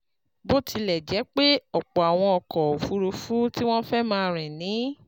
Bó tilẹ̀ jẹ́ pé ọ̀pọ̀ àwọn ọkọ̀ òfuurufú tí wọ́n fẹ́ máa rìn ni